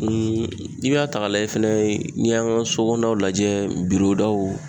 Ee i b'a ta k'a lajɛ fɛnɛ n'i y'an ka sokɔnɔna lajɛ birodaw